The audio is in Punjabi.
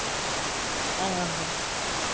ਦਸ ਤੇ ਦੁਕਾਨਾਂ ਆ ਕਿਰਾਏ